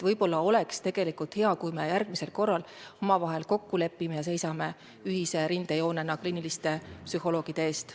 Võib-olla oleks hea, kui me järgmisel korral omavahel kokku lepiksime ja seisaksime ühise rindejoonena kliiniliste psühholoogide eest.